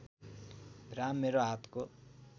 राम मेरो हातको